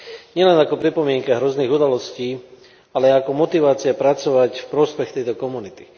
Nielen ako pripomienka hrozných udalostí, ale ako motivácia pracovať v prospech tejto komunity.